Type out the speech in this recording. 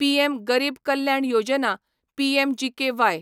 PM Garib Kalyan Yojana PMGKY